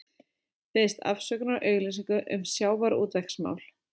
Biðst afsökunar á auglýsingu um sjávarútvegsmál